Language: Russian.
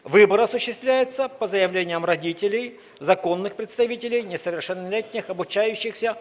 выбор осуществляется по заявлениям родителей законных представителей несовершеннолетних обучающихся